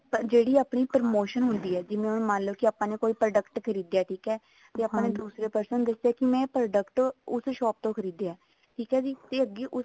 ਜਿਹੜੀ ਆਪਣੀ promotion ਹੁੰਦੀ ਹੈ ਜਿਵੇਂ ਹੁਣ ਮੰਨਲੋ ਕੀ ਆਪਾਂ ਨੇ ਕੋਈ product ਖਰੀਦਿਆ ਠੀਕ ਹੈ ਆਪਾਂ ਨੇ ਦੂਸਰੇ person ਨੂੰ ਦੱਸਿਆ ਕੇ ਮੈਂ ਇਹ product ਉਸ shop ਤੋਂ ਖਰੀਦਿਆ ਠੀਕ ਆ ਜੀ ਤੇ ਅੱਗੇ ਉਸ